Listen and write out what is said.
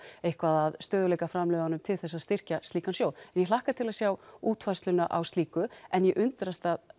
eitthvað af stöðugleikaframlögunum til þess að styrkja slíkan sjóð ég hlakka til að sjá útfærsluna á slíku en ég undrast